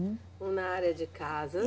Na área de casa.